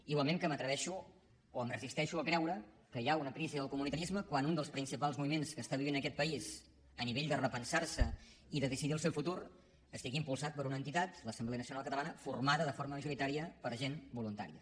igualment que m’atreveixo o em resisteixo a creure que hi ha una crisi del comunitarisme quan un dels principals moviments que està vivint aquest país a nivell de repensarse i de decidir el seu futur està impulsat per una entitat l’assemblea nacional catalana formada de forma majoritària per gent voluntària